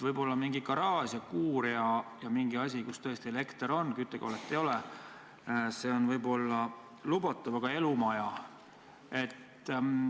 Võib-olla kui on mingi garaaž või kuur või muu hoone, kus elekter on, aga küttekollet ei ole, siis see on ehk lubatav, aga elumaja?